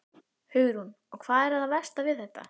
Hugrún: Og hvað var það versta við þetta?